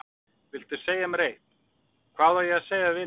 Viltu segja mér eitt: hvað á ég að segja við vini mína.